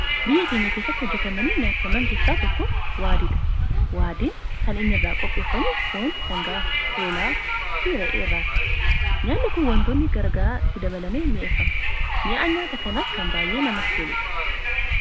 Gosoota nyaataa biyya keenya keessatti hojjetamanii nyaataman keessaa tokko waaddiidha. Waaddiin kan inni irraa qopheeffamu foon sangaa ,hoolaa fi re'ee irraatti, nyaanni kun wantoonni garaagara itti dabalamee mi'eeffama mi'aan nyaata kanaas kan baayyee namatti toludha.